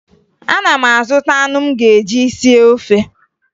Ana m azụta anụ m ga-eji sie ofe